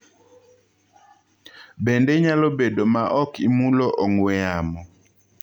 Bende inyalobed ma ok imaulo ong'wee yamo?